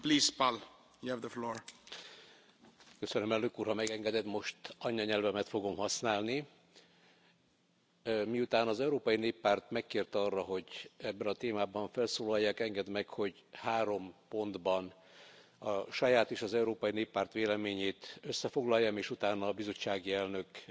Tisztelt Elnök úr! Ha megengeded, most anyanyelvemet fogom használni. Miután az Európai Néppárt megkért arra, hogy ebben a témában felszólaljak, engedd meg, hogy három pontban a saját és az Európai Néppárt véleményét összefoglaljam és utána a bizottsági elnök